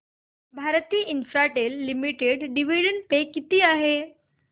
Bharti Infratel limited dividend pay किती आहे